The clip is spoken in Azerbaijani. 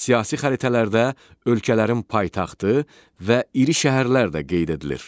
Siyasi xəritələrdə ölkələrin paytaxtı və iri şəhərlər də qeyd edilir.